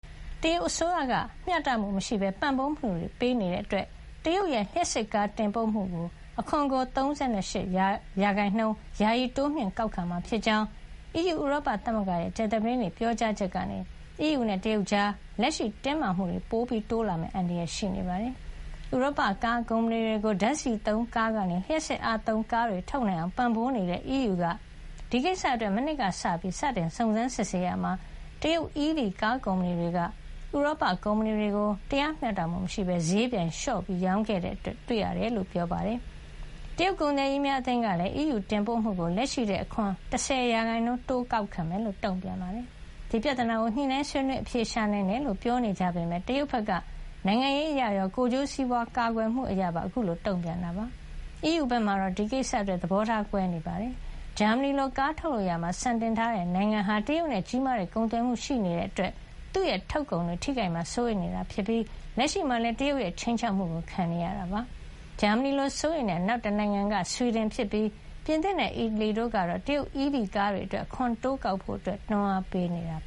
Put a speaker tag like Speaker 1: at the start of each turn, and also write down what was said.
Speaker 1: တရုတ်အစိုးရက မျှတမှုမရှိဘဲ ပံ့ပိုးမှုတွေပေးနေတာကြောင့် တရုတ်ရဲ့လျှပ်စစ်ကားတင်ပို့မှုအတွက် အခွန်ကို ၃၈ % ယာယီတိုးမြှင့်ကောက်ခံမှာဖြစ်ကြောင်း အီးယူဥရောပသမဂ္ဂရဲ့ ကြာသပတေးနေ့ ပြောကြားချက်ကနေ အီးယူနဲ့တရုတ်ကြား လက်ရှိတင်းမာမှုတွေ ပိုတိုးမယ့် အန္တရာယ်ရှိနေပါတယ်။ ဥရောပကားကုမ္ပဏီတွေကို ဓါတ်ဆီသုံးကားကနေ လျှပ်စစ်အားသုံးကားတွေထုတ်နိုင်အောင် ပံ့ပိုးနေတဲ့ အီးယူက ဒီကိစ္စအတွက် မနှစ်ကစပြီး စတင်စုံစမ်းစစ်ဆေးရာမှာ တရုတ် EV ကားကုမ္ပဏီတွေက ဥရောပ ကုမ္ပဏီတွေကို တရားမျှတမှုမရှိဘဲ ဈေးပြိုင်လျှော့ရောင်းခဲ့ကြောင်း တွေ့ရတယ်လို့ ပြောပါတယ်။ တရုတ်ကုန်သည်ကြီးများအသင်းကလည်း အီးယူကတင်ပို့မှုကို လက်ရှိထက် အခွန် ၁၀ % တိုးမြှင့် ကောက်ခံမယ်လို့ တုံ့ပြန်ပါတယ်။ ဒီပြဿနာကို ညှိနှိုင်းဆွေးနွေးအဖြေရှာနိုင်တယ်လို့ ပြောနေကြပေမယ့် တရုတ်ဘက်က နိုင်ငံရေးအရရော ကိုယ်ကျိုးစီးပွါးကာကွယ်မှုအရပါ အခုလို တုံ့ပြန်တာဖြစ်ပါတယ်။ အီးယူဘက်မှာတော့ ဒီကိစ္စအတွက် သဘောထားကွဲနေကြပါတယ်။ ဂျာမနီလိုကားထုတ်လုပ်ရာမှာ စံတင်ထားတဲ့နိုင်ငံဟာ တရုတ်နဲ့ကြီးမားတဲ့ကုန်သွယ်မှုရှိနေတာကြောင့် သူ့ထုတ်ကုန်တွေထိခိုက်မှာ စိုးနေတာဖြစ်ပြီး လက်ရှိမှာလည်း တရုတ်ရဲ့ခြိမ်းခြောက်မှုကို ခံနေရတာပါ။ ဂျာမနီလိုစိုးရိမ်တဲ့ နောက်တနိုင်ငံက ဆွီဒင်ဖြစ်ပြီး ပြင်သစ်နဲ့အီတလီတို့ကတော့ တရုတ် EV ကားတွေအတွက် အခွန်တိုးကောက်ဖို့ တွန်းအားပေးနေပါတယ်။